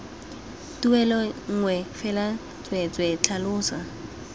tuelo nngwe fela tsweetswee tlhalosa